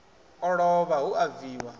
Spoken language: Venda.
o lovha hu a bviwa